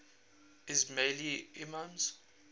ismaili imams